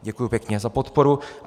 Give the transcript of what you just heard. Děkuji pěkně za podporu.